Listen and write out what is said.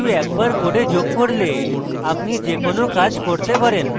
কিন্তু একবার code যোগ করলে আপনি যে কোনো কাজ করতে পারেন